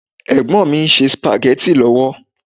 Ẹ̀gbọ́n mi ń ṣe Spaghetti lọ́wọ́